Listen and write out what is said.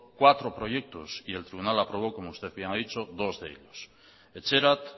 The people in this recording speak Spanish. cuatro proyectos y el tribunal aprobó como usted bien ha dicho dos de ellos etxerat